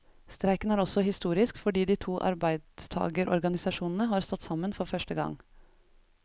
Streiken er også historisk fordi de to arbeidstagerorganisasjonene har stått sammen for første gang.